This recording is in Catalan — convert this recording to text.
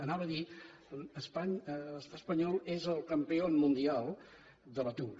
anava a dir l’estat espanyol és el campió mundial de l’atur